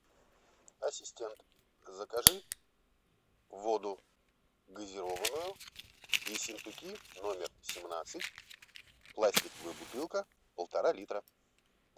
ассистент закажи воду газированную ессентуки номер семнадцать пластиковая бутылка полтора литра